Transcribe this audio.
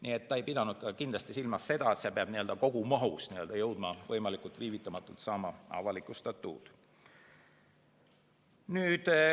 Nii et ta ei pidanud kindlasti silmas seda, et see peab kogumahus viivitamata avalikustatud saama.